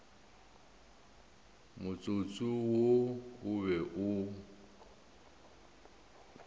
motsotso wo o be o